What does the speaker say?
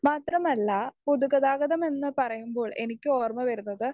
speaker 1 മാത്രമല്ല പൊതുഗതാഗതം എന്ന് പറയുമ്പോൾ എനിക്ക് ഓർമ്മ വരുന്നത്